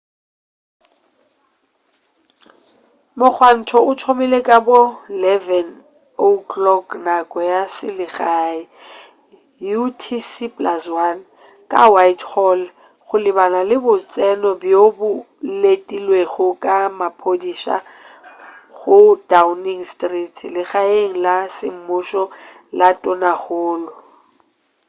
mogwanto o thomile ka bo 11:00 nako ya selegae utc+1 ka whitehall go lebana le botseno bjo o letilwego ke maphodisa go downing street legaeng la semmušo la tonakgolo